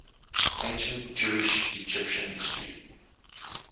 ancient jewish egyptian history